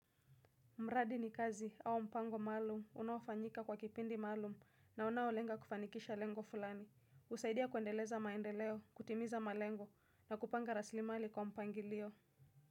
Mradi ni kazi au mpango maalum unaofanyika kwa kipindi maalum na unawolenga kufanikisha lengo fulani. Usaidia kuendeleza maendeleo, kutimiza malengo na kupanga raslimali kwa mpangilio.